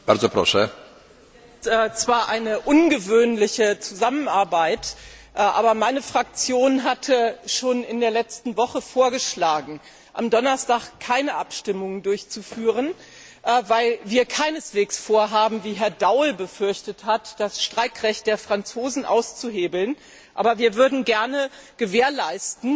Herr Präsident! Es ist zwar eine ungewöhnliche Zusammenarbeit, aber meine Fraktion hatte schon in der letzten Woche vorgeschlagen, am Donnerstag keine Abstimmungen durchzuführen, weil wir keineswegs vorhaben, wie Herr Daul befürchtet hat, das Streikrecht der Franzosen auszuhebeln, aber wir würden gerne gewährleisten,